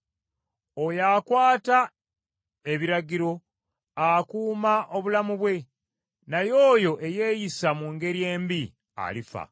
Oyo akwata ebiragiro akuuma obulamu bwe, naye oyo eyeeyisa mu ngeri embi alifa.